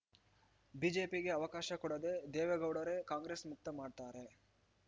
ಬಿಜೆಪಿಗೆ ಅವಕಾಶ ಕೊಡದೇ ದೇವೇಗೌಡರೇ ಕಾಂಗ್ರೆಸ್‌ ಮುಕ್ತ ಮಾಡ್ತಾರೆ